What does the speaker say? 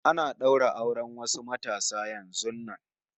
Ana ɗaura auren wasu matasa yanzun nan